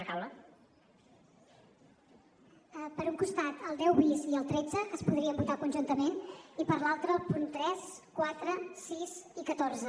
per un costat el deu bis i el tretze que es podrien votar conjuntament i per l’altre el punt tres quatre sis i catorze